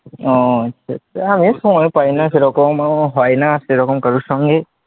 ও হয় সেরকম ভাবে হয়না আর সেরকম কারুর সঙ্গে,